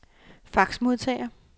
faxmodtager